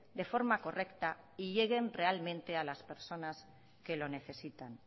de forma correcta y lleguen realmente a las personas que lo necesitan